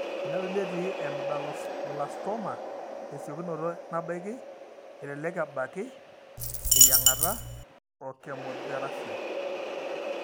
Tenedoli etii emedulloblastoma tesiokinoto nabaiki, elelek ebaki teyieng'ata ochemotherapyo.